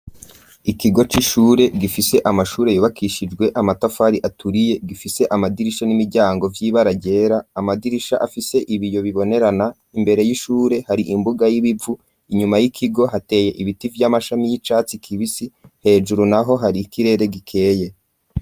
Ikigo c'ishure gifise amashure yubakishijwe amatafari aturiye gifise amadirisha n'imiryango vy'ibaragera amadirisha afise ibiyo bibonerana imbere y'ishure hari imbuga y'ibivu; inyuma y'ikigo hateye ibiti vy'amashami y'icatsi kibisi hejuru naho hari ikirere gikeye.